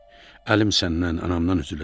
Əlim səndən, anamdan üzüləcək.